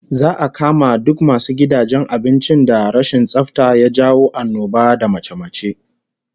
Za'a kama duk masu gidajen abincin da rashin tsafta ya jawo annoba da mace-mace